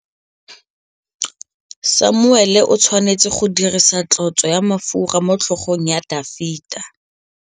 Samuele o tshwanetse go dirisa tlotsô ya mafura motlhôgong ya Dafita.